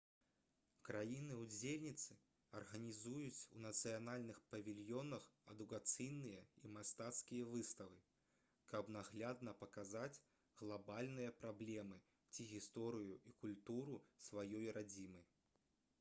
краіны-удзельніцы арганізуюць у нацыянальных павільёнах адукацыйныя і мастацкія выставы каб наглядна паказаць глабальныя праблемы ці гісторыю і культуру сваёй радзімы